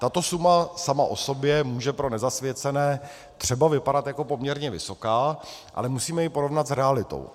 Tato suma sama o sobě může pro nezasvěcené třeba vypadat jako poměrně vysoká, ale musíme ji porovnat s realitou.